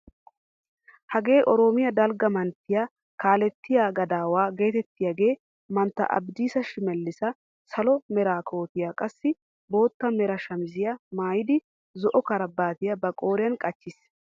Hagee oroomiyaa dalga manttiyaa kalettiyaa gadawaa getettiyaage mantta abdiissa shimelissi salo mera kootiyaa qassi bootta mera shamisiyaa maayidi zo'o karaabataa ba qooriyaan qachchiis.